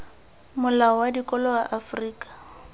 molao wa dikolo wa afrika